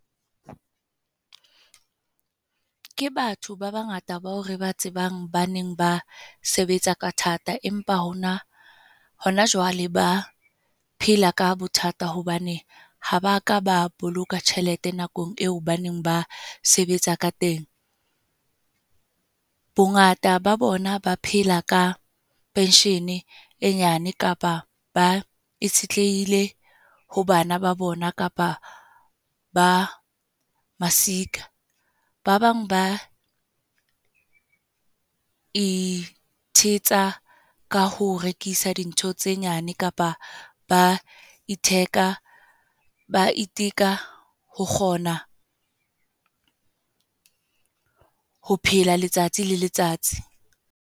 Ke batho ba bangata ba o re ba tsebang ba neng ba sebetsa ka thata. Empa hona, hona jwale ba phela ka bothata, hobane ha ba ka ba boloka tjhelete nakong eo ba neng ba sebetsa ka teng. Bongata ba bona ba phela ka pension e nyane, kapa ba itshetlehile ho bana ba bona, kapa ba masika. Ba bang ba ithetsa ka ho rekisa dintho tse nyane kapa ba itheka. Ba iteka ho kgona, ho phela letsatsi le letsatsi.